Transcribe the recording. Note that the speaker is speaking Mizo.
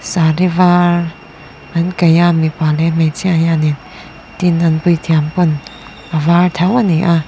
saree var an kaih a mipa leh hmeichhia hianin tin an puithiam pawn a var tho ani a.